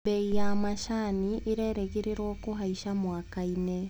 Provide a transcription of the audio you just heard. Mbei ya macani ĩrerĩgĩrĩrwo kũhaica mwakainĩ.